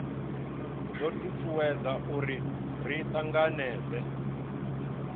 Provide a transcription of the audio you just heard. do tutuwedza uri ri tanganedzee